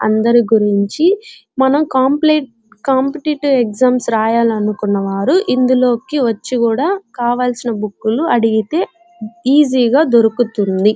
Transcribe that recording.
అందరి గురించి మనము కాంపిటేటివ్ ఎగ్జామ్స్ రాయాలనుకుంటే వాళ్ళు ఇందులోకి వచ్చి కూడా కావలసిన బుక్కు లు అడిగితే ఈజీగా దొరుకుతుంది.